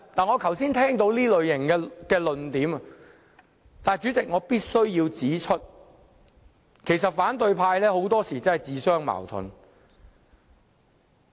我剛才聽到這種論點，但主席，我必須指出反對派很多時也自相矛盾。